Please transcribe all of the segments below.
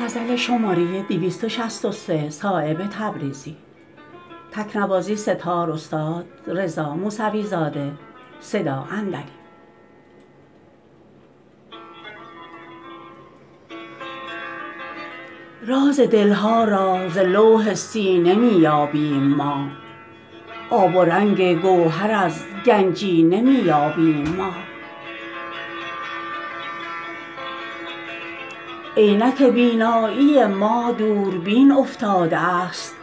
راز دل ها را ز لوح سینه می یابیم ما آب و رنگ گوهر از گنجینه می یابیم ما عینک بینایی ما دوربین افتاده است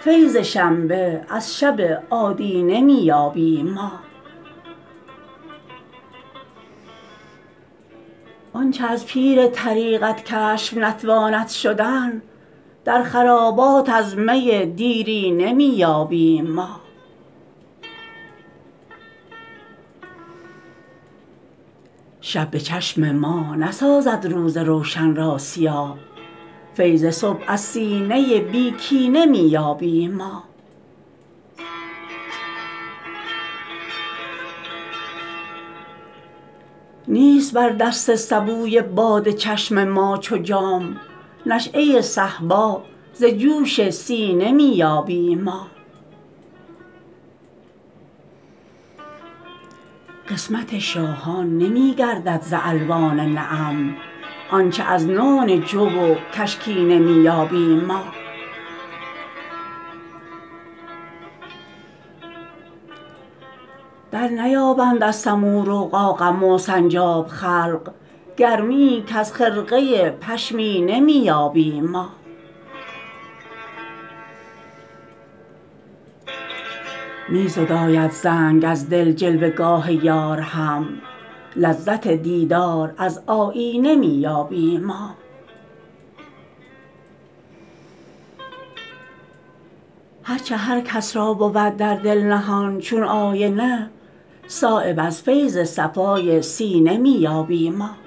فیض شنبه از شب آدینه می یابیم ما آنچه از پیر طریقت کشف نتواند شدن در خرابات از می دیرینه می یابیم ما شب به چشم ما نسازد روز روشن را سیاه فیض صبح از سینه بی کینه می یابیم ما نیست بر دست سبوی باده چشم ما چو جام نشأه صهبا ز جوش سینه می یابیم ما قسمت شاهان نمی گردد ز الوان نعم آنچه از نان جو و کشکینه می یابیم ما درنیابند از سمور و قاقم و سنجاب خلق گرمیی کز خرقه پشمینه می یابیم ما می زداید زنگ از دل جلوه گاه یار هم لذت دیدار از آیینه می یابیم ما هرچه هر کس را بود در دل نهان چون آینه صایب از فیض صفای سینه می یابیم ما